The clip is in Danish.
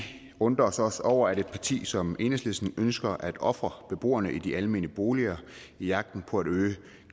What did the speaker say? undrer os også over at et parti som enhedslisten ønsker at ofre beboerne i de almene boliger i jagten på at øge